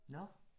Nåh